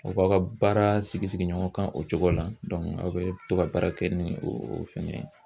U ba aw ka baara sigi sigi ɲɔgɔn kan o cogo la aw bɛ to ka baara kɛ ni o fɛngɛ ye.